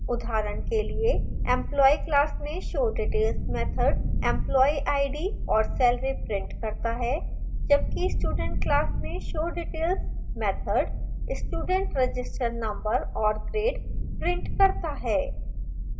उदाहरण के लिए employee class में showdetails मैथड employee id और salary prints करता है जबकि student class में showdetails method student register number और grade prints करता है